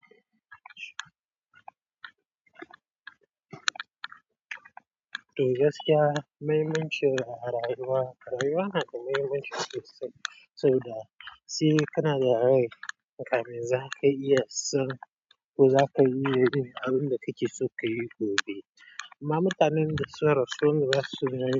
To gaskiya mai mai ci a rayuwa, rayuwa na da mai mai ci sosai saboda Si, kana da rai, mutane zaka iya son ko zaka iya son abunda zaka yi gobe amma mutanen da sun rasu, sun rasu.